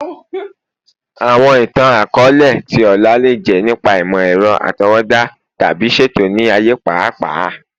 Awọn itan-akọọlẹ ti ọla le jẹ nipa imọ-ẹrọ atọwọda tabi ṣeto ni aaye paapaa